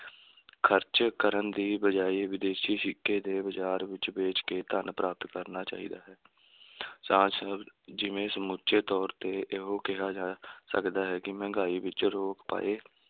ਖਰਚ ਕਰਨ ਦੀ ਬਜਾਏ, ਵਿਦੇਸ਼ੀ ਸਿੱਕੇ ਦੇ ਬਾਜ਼ਾਰ ਵਿੱਚ ਵੇਚ ਕੇ ਧੰਨ ਪ੍ਰਾਪਤ ਕਰਨਾ ਚਾਹੀਦਾ ਹੈ ਜਿਵੇਂ ਸਮੁੱਚੇ ਤੌਰ 'ਤੇ ਇਹੋ ਕਿਹਾ ਜਾ ਸਕਦਾ ਹੈ ਕਿ ਮਹਿੰਗਾਈ ਵਿੱਚ ਰੋਕ ਪਏ